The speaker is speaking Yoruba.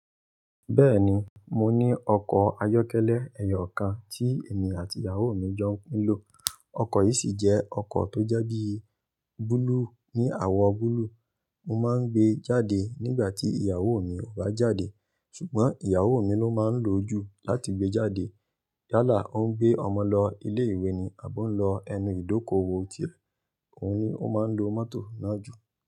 Bẹ́ẹ̀ni, mo ní ọkọ̀ ayọ́kẹ́lẹ́ ẹyọ kan tí èmi àti ìyàwó mi jọ ń pinlò. Ọkọ̀ yìí sì jẹ́ ọkọ̀ tó jẹ́ bí búlúù ní àwọ̀ búlúù. Mo máa ń gbé e jáde nígbà tí ìyàwó mi ò bá jáde. Ṣùgbọ́n ìyàwó mi ló máa ń lò ó jù láti gbé jáde. Yálà ó ń gbé ọmọ lọ ilé ìwé ni àbọ́ o ń lọ ẹnu ìdókòwò ó tie. Òun ni ó máa ń lo mọ́tò náà jù.